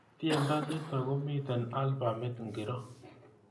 Tyendo nito komiten albamit ngiro